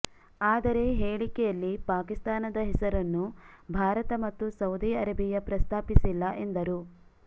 ಆದರೆ ಹೇಳಿಕೆಯಲ್ಲಿ ಪಾಕಿಸ್ತಾನದ ಹೆಸರನ್ನು ಭಾರತ ಮತ್ತು ಸೌದಿ ಅರೇಬಿಯಾ ಪ್ರಸ್ತಾಪಿಸಿಲ್ಲ ಎಂದರು